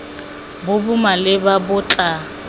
bo bo maleba bo tla